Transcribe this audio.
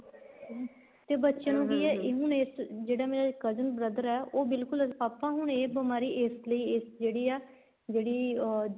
ਤੇ ਬੱਚਿਆ ਨੂੰ ਕੀ ਹੈ ਹੁਣ ਇਸ ਜਿਹੜਾ ਮੇਰਾ cousin brother ਏ ਉਹ ਬਿਲਕੁਲ ਆਪਾਂ ਹੁਣ ਏ ਬੀਮਾਰੀ ਇਸ ਲਈ ਜਿਹੜੀ ਆ ਜਿਹੜੀ ਅਹ